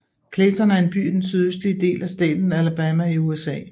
Clayton er en by i den sydøstlige del af staten Alabama i USA